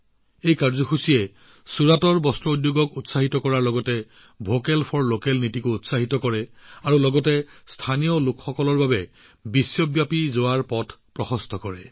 এই কাৰ্যসূচীয়ে কেৱল ছুৰাটৰ বস্ত্ৰশিল্প উদ্যোগক এক উদ্গনি যোগোৱাইই নহয় ভোকেল ফৰ লোকেলয়েও শক্তি লাভ কৰিলে আৰু স্থানীয় সামগ্ৰীৰ বিশ্ব পৰ্যায়লৈ প্ৰসাৰ হোৱাৰ পথো প্ৰশস্ত কৰিলে